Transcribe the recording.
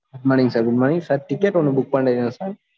good morning sir good morning sir ticket ஒண்ணு book பன்னி இருந்தேன் sir